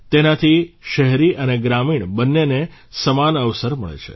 તેનાથી શહેરી અને ગ્રામીણ બંનેને સમાન અવસર મળે છે